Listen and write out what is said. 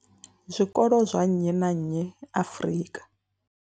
Zwikolo zwa nnyi na nnyi Afrika.